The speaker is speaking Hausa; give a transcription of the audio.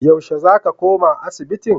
Yaushe za ka koma asibiti?